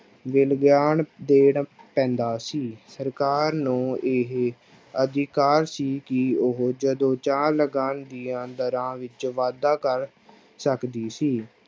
ਵੀ ਲਗਾਨ ਦੇਣਾ ਪੈਂਦਾ ਸੀ, ਸਰਕਾਰ ਨੂੰ ਇਹ ਅਧਿਕਾਰ ਸੀ ਕਿ ਉਹ ਜਦੋਂ ਚਾਹੁਣ ਲਗਾਨ ਦੀ ਦਰਾਂ ਵਿੱਚ ਵਾਧਾ ਕਰ ਸਕਦੀ ਸੀ।